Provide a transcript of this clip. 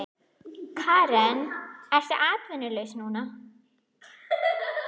Karen: Ertu atvinnulaus núna?